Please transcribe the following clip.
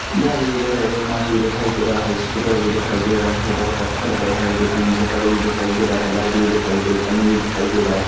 जाली दिखाई दे रही है कांच भी दिखाई दे रहा है स्कूटर भी दिखाई दे रहा है बोहोत बहुतअच्छा लग रहा है देखने मे शटर भी दिखाई दे रहा है लाईट भी दिखाई दे रही है खंभे भी दिखाई दे रहे है।